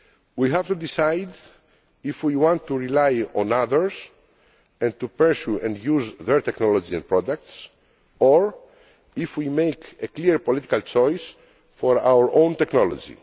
We have to decide if we want to rely on others and to purchase and use their technology and products, or if we make a clear political choice for our own technology.